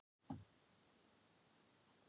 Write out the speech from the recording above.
Baróninn opnaði kassann og lyfti upp hljóðfæri sínu.